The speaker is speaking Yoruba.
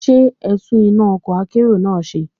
Ṣé ẹtún iná ọkọ̀ akérò ńlá náà ṣe?